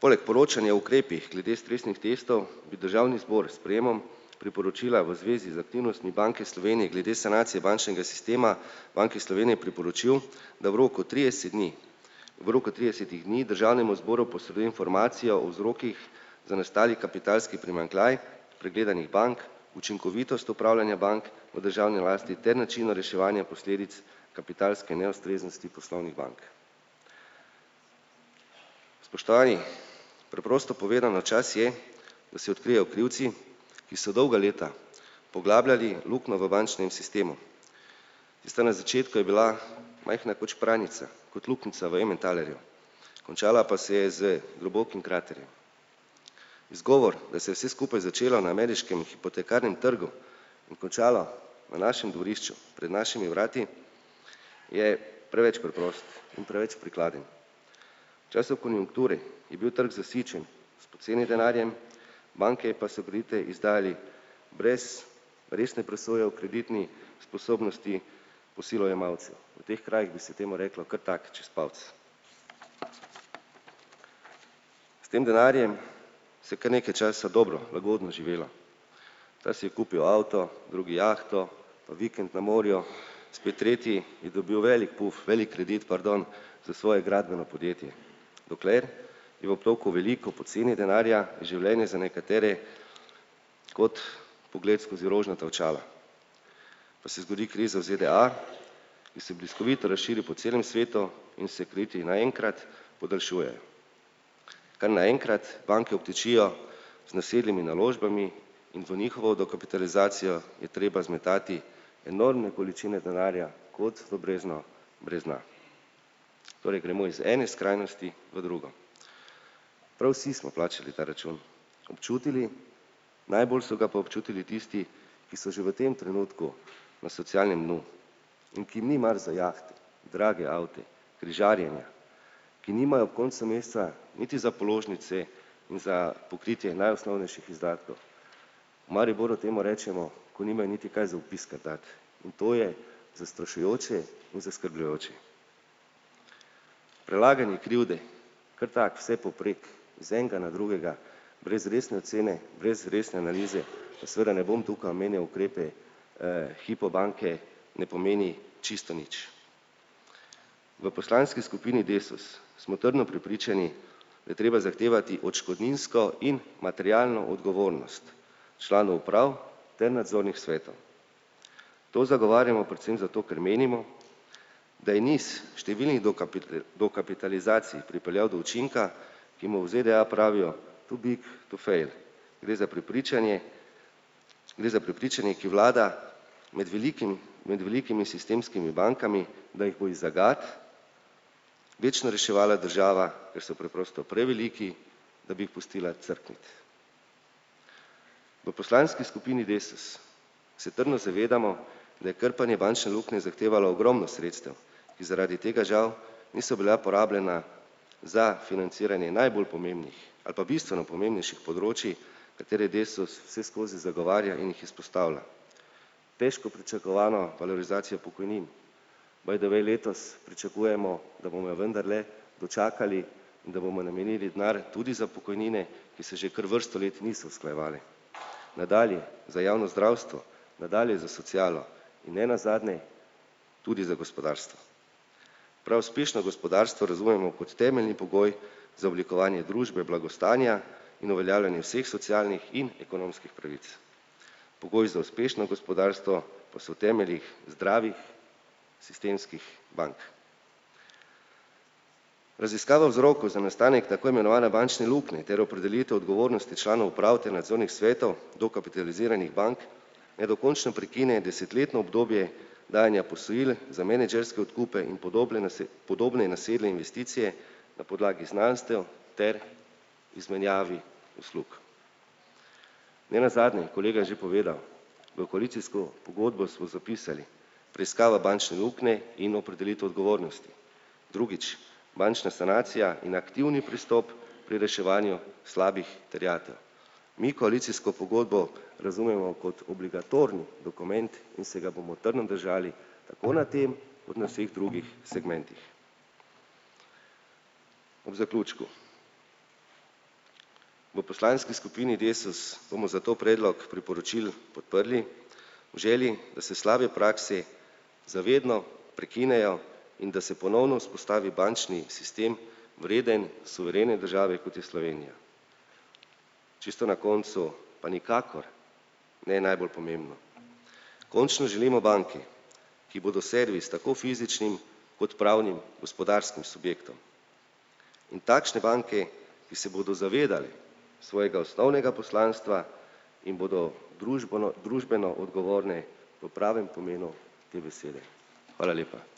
Poleg poročanja o ukrepih glede stresnih testov bi državni zbor s sprejemom priporočila v zvezi aktivnostmi Banke Slovenije glede sanacije bančnega sistema Banki Slovenije priporočil, da v roku trideset dni, v roku tridesetih dni državnemu zboru posreduje informacijo o vzrokih za nastali kapitalski primanjkljaj pregledanih bank, učinkovitost upravljanja bank v državni lasti ter način o reševanju posledic kapitalske neustreznosti poslovnih bank. Spoštovani, preprosto povedano, čas je, da se odkrijejo krivci, ki so dolga leta poglabljali luknjo v bančnem sistemu. Veste, na začetku je bila majhna kot špranjica, kot luknjica v ementalerju. Končala pa se je z globokim kraterjem. Izgovor, da se je vse skupaj začelo na ameriškem hipotekarnem trgu in končalo v našem dvorišču pred našimi vrati, je preveč preprost in preveč prikladen. Času konjunkture je bil trg zasičen s poceni denarjem, banke pa so kredite izdajale brez resne presoje o kreditni sposobnosti posojilojemalcev. V teh krajih bi se temu reklo kar tako čas palec. S tem denarjem se kar nekaj časa dobro lagodno živelo, ta si je kupil avto, drugi jahto pa vikend na morju, spet tretji je dobil velik puf, velik kredit, pardon, za svoje gradbeno podjetje, dokler je v obtoku veliko poceni denarja, je življenje za nekatere kot pogled skozi rožnata očala. Pa se zgodi kriza v ZDA in se bliskovito razširi po celem svetu in se krediti naenkrat podaljšujejo. Kar naenkrat banke obtičijo z nasilnimi naložbami in v njihovo dokapitalizacijo je treba zmetati enormne količine denarja kot v brezno brez dna. Torej, gremo iz ene skrajnosti v drugo. Prav si smo plačali ta račun, občutili najbolj so ga pa občutili tisti, ki so že v tem trenutku na socialnem dnu in ki ni mar za jahte drage avte, križarjenja, ki nimajo ob koncu meseca niti za položnice in za pokritje najosnovnejših izdatkov. V Mariboru temu rečemo, ko nimajo niti kaj za v pisker dati, in to je zastrašujoče in zaskrbljujoče. Prelaganje krivde kar tako vsepovprek iz enega na drugega, brez resne ocene, brez resne analize, pa seveda ne bom tukaj omenjal ukrepe, Hypo banke, ne pomeni čisto nič. V poslanski skupini Desus smo trdno prepričani, da je treba zahtevati odškodninsko in materialno odgovornost članov uprav ter nadzornih svetov. To zagovarjamo predvsem zato, ker menimo, da je niz številnih dokapitalizacij pripeljal do učinka, ki mu v ZDA pravijo too big to fail. Gre za prepričanje, gre za prepričanje, ki vlada med velikimi, med velikimi sistemskimi bankami, da jih bo iz zagat večno reševala država, ker so preprosto preveliki da bi jih pustila crkniti. V poslanski skupini Desus se trdno zavedamo, da je krpanje bančne luknje zahtevalo ogromno sredstev, ki zaradi tega žal niso bila porabljena za financiranje najbolj pomembnih ali pa bistveno pomembnejših področij, katere Desus vseskozi zagovarja in jih izpostavlja. Težko pričakovano valorizacijo pokojnin baje, da bojo letos, pričakujemo, da bomo jo vendarle dočakali in da bomo namenili denar tudi za pokojnine, ki se že kar vrsto let niso usklajevale. Nadalje, za javno zdravstvo, nadalje za socialo in nenazadnje tudi za gospodarstvo. Prav uspešno gospodarstvo razumemo kot temeljni pogoj za oblikovanje družbe blagostanja in uveljavljanje vseh socialnih in ekonomskih pravic. Pogoji za uspešno gospodarstvo pa so temelji zdravih sistemskih bank. Raziskava vzrokov za nastanek tako imenovane bančne luknje ter opredelitev odgovornosti članov uprav ter nadzornih svetov dokapitaliziranih bank naj dokončno prekine desetletno obdobje dajanja posojil za menedžerke odkupe in podobne in nasedle investicije na podlagi znanstev ter izmenjavi uslug. Nenazadnje kolega je že povedal: "V koalicijsko pogodbo smo zapisali: "Preiskava bančne luknje in opredelitev odgovornosti. Drugič bančna sanacija in aktivni pristop pri reševanju slabih terjatev."" Mi koalicijsko pogodbo razumemo kot obligatorni dokument in se ga bomo trdno držali, tako na tem kot na vseh drugih segmentih. Ob zaključku. V poslanski skupini Desus bomo zato predlog priporočil podprli v želji, da slabi praksi za vedno prekinejo in da se ponovno vzpostavi bančni sistem, vreden suverene države, kot je Slovenija. Čisto na koncu, pa nikakor ne najbolj pomembno. Končno želimo bank, ki bodo servis tako fizičnim kot pravnim gospodarskim subjektom, in takšne banke, ki se bodo zavedale svojega osnovnega poslanstva in bodo družbono družbeno odgovorne v pravem pomenu te besede. Hvala lepa.